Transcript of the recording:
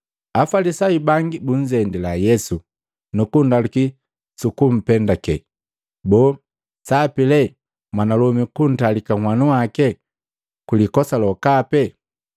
Afalisayu bangi bunzendila Yesu, nukundaluki sukumpendake, “Boo, sapi lee mwanalomi kuntalika nhwanu waki kwi likosa lokape?”